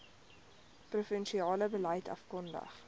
provinsiale beleid afgekondig